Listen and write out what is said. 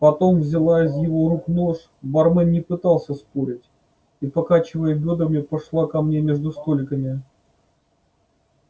потом взяла из его рук нож бармен не пытался спорить и покачивая бёдрами пошла ко мне между столиками